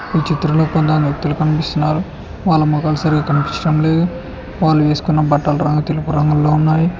ఈ చిత్రంలో కొంతమంది వ్యక్తులు కనిపిస్తున్నారు. వాళ్ళ మొఖం సరిగ్గా కనిపించడం లేదు వాళ్ళు వేసుకున్న బట్టలు రంగు తెలుపు రంగుల్లో ఉన్నాయి.